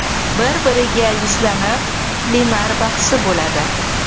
Bir-biriga yuzlanib” plenar bahsi bo‘ladi.